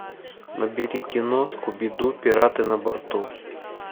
набери кино скуби ду пираты на борту